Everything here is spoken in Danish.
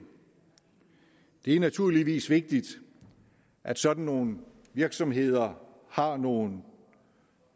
det er naturligvis vigtigt at sådan nogle virksomheder har nogle